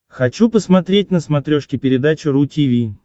хочу посмотреть на смотрешке передачу ру ти ви